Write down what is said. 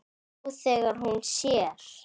Nú þegar hún sér.